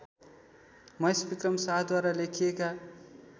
महेशविक्रम शाहद्वारा लेखिएका